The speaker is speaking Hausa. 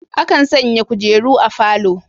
Akan sanya kujeru a falo.